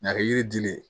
N'a kɛ yiri dilen